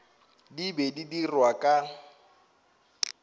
di be di dirwa ka